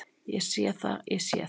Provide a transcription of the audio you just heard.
Ég sé það, ég sé það.